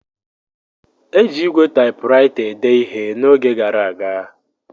Eji ígwè Taịpuraịta ede ihe n’oge gara aga.